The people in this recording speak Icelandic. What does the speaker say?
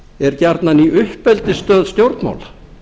er gjarnan í uppeldisstöð stjórnmála